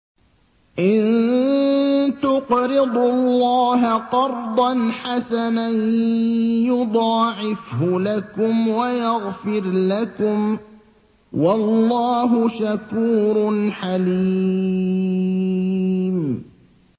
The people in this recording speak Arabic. إِن تُقْرِضُوا اللَّهَ قَرْضًا حَسَنًا يُضَاعِفْهُ لَكُمْ وَيَغْفِرْ لَكُمْ ۚ وَاللَّهُ شَكُورٌ حَلِيمٌ